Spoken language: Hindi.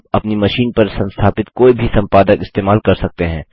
आप अपनी मशीन पर संस्थापित कोई भी सम्पादक इस्तेमाल कर सकते हैं